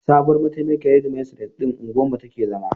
Sabuwar mataimakiyar shedimistres ɗin unguwar mu take zama.